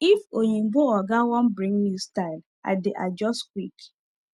if oyinbo oga wan bring new style i dey adjust quick